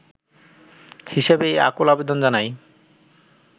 হিসেবেই এই আকুল আবেদন জানাই